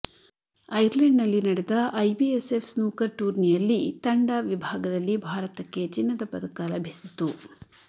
ಐರ್ಲೆಂಡ್ನಲ್ಲಿ ನಡೆದ IBSF snooker ಟೂರ್ನಿಯಲ್ಲಿ ತಂಡ ವಿಭಾಗದಲ್ಲಿ ಭಾರತಕ್ಕೆ ಚಿನ್ನದ ಪದಕ ಲಭಿಸಿತು